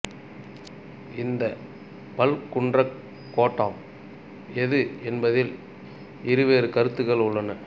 இந்தப் பல்குன்றக் கோட்டம் எது என்பதில் இருவேறு கருத்துகள் உள்ளன